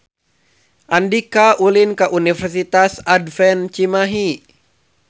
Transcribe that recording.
Andika ulin ka Universitas Advent Cimahi